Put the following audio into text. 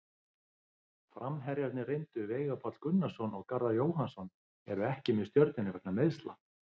Framherjarnir reyndu Veigar Páll Gunnarsson og Garðar Jóhannsson eru ekki með Stjörnunni vegna meiðsla.